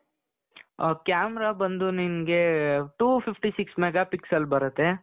ಅ camera ಬಂದು ನಿಮಗೆ two fifty six mega pixel ಬರುತ್ತೆ .